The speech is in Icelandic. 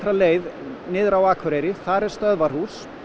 leið niður á Akureyri þar er stöðvarhús